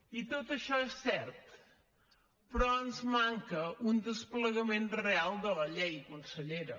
i tot això és cert però ens manca un desplegament real de la llei consellera